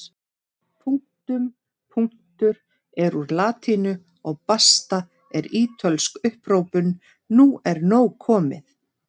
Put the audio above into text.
Punktum punktur er úr latínu og basta er ítölsk upphrópun nú er nóg komið!